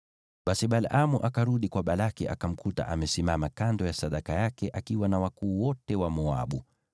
Basi Balaamu akarudi kwa Balaki, akamkuta amesimama kando ya sadaka yake akiwa na wakuu wote wa Moabu.